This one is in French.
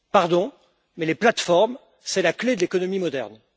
Pardon, mais les plateformes sont la clé de l'économie moderne.